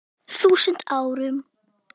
þúsund árum.